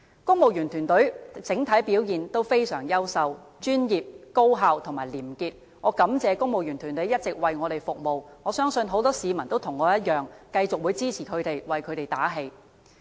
公務員團隊的整體表現非常優秀、專業、高效和廉潔，我感謝公務員團隊一直為我們服務，我相信很多市民和我一樣，會繼續支持他們，為他們打氣。